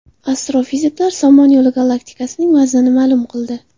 Astrofiziklar Somon Yo‘li galaktikasining vaznini ma’lum qildi.